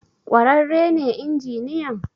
kwararre ne injiniyan?